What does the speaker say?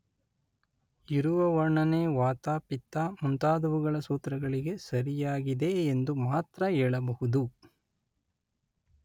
ಇರುವ ವರ್ಣನೆ ವಾತ ಪಿತ್ತ ಮುಂತಾದುವುಗಳ ಸೂತ್ರಗಳಿಗೆ ಸರಿಯಾಗಿದೆ ಎಂದು ಮಾತ್ರ ಹೇಳಬಹುದು.